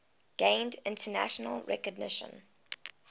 gained international recognition